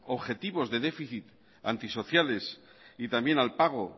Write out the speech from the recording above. objetivos de déficit antisociales y también al pago